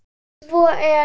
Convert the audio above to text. Svo er